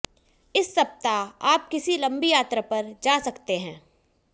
इस सप्ताह आप किसी लम्बी यात्रा पर जा सकते हैं